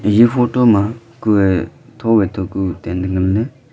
eya photo ma kue tho wai tho ku tent nganley.